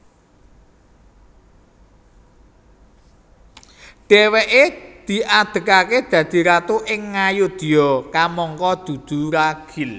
Dhèwèké diadegaké dadi ratu ing Ngayodya kamangka dudu ragil